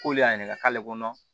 K'olu y'a ɲininka k'ale kɔnɔ